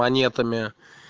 монетами